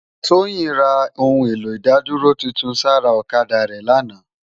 Toyin rá óoun éló idádúró tútún sãrá òkadá rè làná